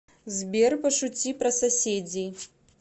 сбер пошути про соседей